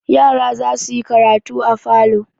Yara za su yi karatu a falo.